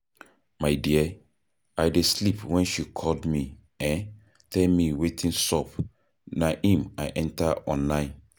My dear, I dey sleep wen she call me um tell me wetin sup na im I enter online